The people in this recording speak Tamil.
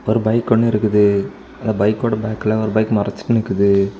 ஒரு பைக் ஒன்னு இருக்குது அந்த பைக்கோட பேக்ல ஒரு பைக் மறச்சிட்டு நிக்குது.